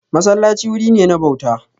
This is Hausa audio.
Masallaci wuri ne na bauta.